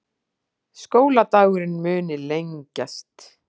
Skóladagurinn muni lengjast